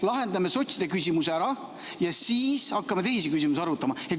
Lahendame sotside küsimuse ära ja siis hakkame teisi küsimusi arutama.